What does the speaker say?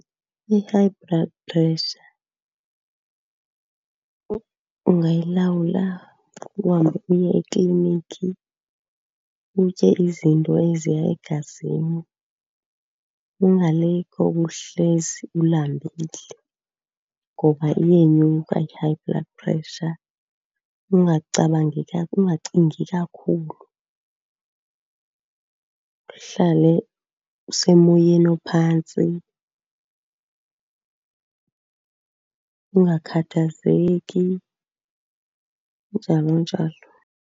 I-high blood pressure ungayilawula. Uhambe uye ekliniki, utye izinto eziya egazini, ungaloku uhlezi ulambile ngoba iyenyuka i-high blood pressure. Ungacabangi , ungacingi kakhulu, uhlale usemoyeni ophantsi, ungakhathazeki, njalo njalo.